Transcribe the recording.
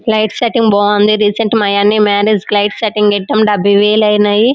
Light setting చాలా బాగుంది. Recent marriage light setting పెట్టారు. డబ్బై వెల్లు అయిన్నాయి.